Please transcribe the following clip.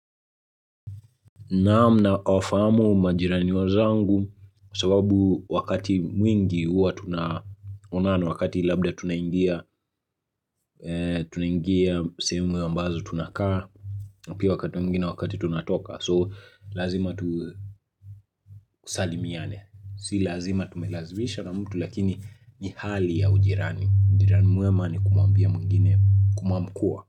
Namna nawafahamu majirani wazangu kwa sababu wakati mwingi huwa tunaonana wakati labda tunaingia sehemu ambazo tunakaa pia wakati mwingine wakati tunatoka so lazima tusalimiane si lazima tumelazimisha na mtu lakini ni hali ya ujirani ujirani mwema ni kumwambia mwingine kumwamkua.